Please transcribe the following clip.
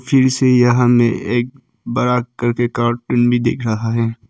फिर से यह हमें एक बड़ा करके कार्टून भी दिख रहा है।